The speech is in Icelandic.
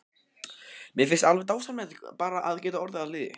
Mér finnst alveg dásamlegt bara að geta orðið að liði.